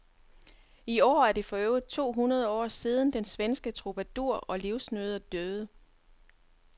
I år er det forøvrigt to hundrede år siden den svenske troubadour og livsnyder døde.